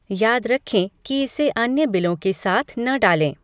याद रखें कि इसे अन्य बिलों के साथ न डालें।